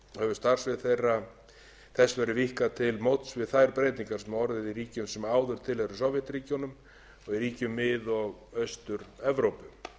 starfssvið þess verið víkkað til móts við þær breytingar sem hafa orðið í ríkjum sem áður tilheyrðu sovétríkjunum og í ríkjum mið og austur evrópu